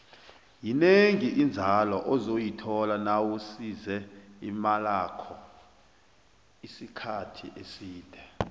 yinengi inzalo ozoyithola nawusise imalakho isikhathi eside